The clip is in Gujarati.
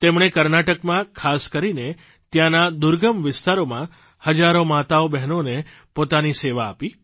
તેમણે કર્ણાટકમાં ખાસ કરીને ત્યાંના દુર્ગમ વિસ્તારોમાં હજારો માતાઓબહેનોને પોતાની સેવા આપી